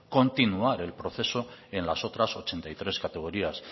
continuar el proceso en las otras ochenta y tres categorías